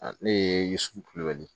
Ne ye yisu